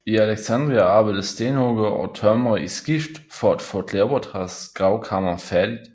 I Alexandria arbejdede stenhuggere og tømrere i skift for at få Kleopatras gravkammer færdigt